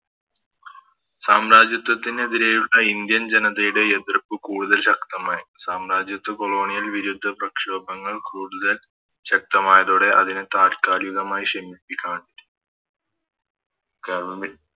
സാമ്രാജ്യത്തിനെതിരെയുള്ള Indian ജനതയുടെ എതിർപ്പ് കൂടുതൽ ശക്തമായി സാമ്രാജത്യ കോളോണിയൽ വിരുദ്ധ പ്രക്ഷോഭങ്ങൾ കൂടുതൽ ശക്തമായതൊടെ അതിനെ താൽക്കാലികമായി ശമിപ്പിക്കാൻ